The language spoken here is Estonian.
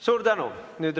Suur tänu!